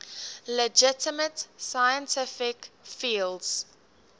legitimate scientific fields